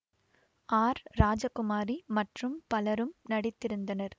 R Rajakumari மற்றும் பலரும் நடித்திருந்தனர்